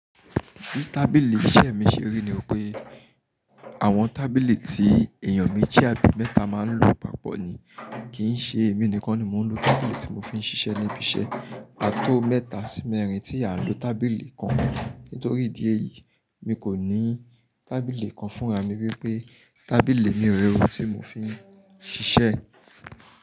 Bí tábìlì iṣẹ́ mi ṣe rí ni pé àwọn tábìlì tí èèyàn méjì àbí mẹ́ta máa ń lò papọ̀ ni, kì í ṣe èmi nìkan ni mò ń lò tábìlì tí mò fi ń ṣiṣẹ́ níbi iṣẹ́. Ààtó mẹ́ta sí mẹ́rin tí á n lò tábìlì kan. Nítorí ìdí èyí, mi kò ní tábìlì kan fúnra mi wípé tábìlì mi reẹ o tí mò ń fi ń ṣiṣẹ́